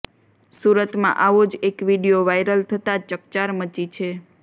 સુરતમાં આવો જ એક વીડિયો વાયરલ થતાં ચકચાર મચી છે